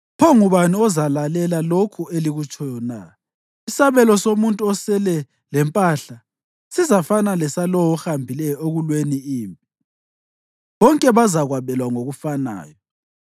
Pho ngubani ozalalela lokhu elikutshoyo na? Isabelo somuntu osele lempahla sizafana lesalowo ohambileyo ekulweni impi. Bonke bazakwabelwa ngokufanayo.”